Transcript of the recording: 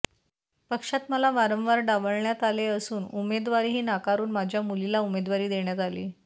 पक्षात मला वारंवार डावलण्यात आले असून उमेदवारीही नाकारून माझ्या मुलीला उमेदवारी देण्यात आली